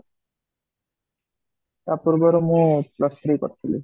ତା ପୂର୍ବରୁ ମୁ plus three କରିଥିଲି